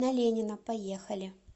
на ленина поехали